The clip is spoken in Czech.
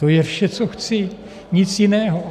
To je vše, co chci, nic jiného.